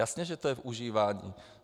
Jasně že to je v užívání.